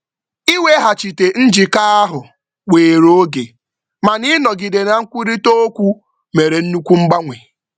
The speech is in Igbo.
Iweghachite njikọ ahụ were oge, mana ịnọgide na nkwurịtaokwu mere nnukwu mgbanwe.